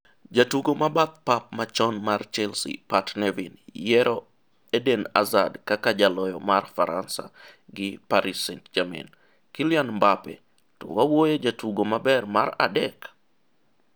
jatugo ma bath pap machon mar Chelsea Pat Nevin yiero Eden Hazard kaka jaloyo mar Faransa gi Paris St-Germain .Kylian Mbappe "To wawuoye jatugo maber mar adek?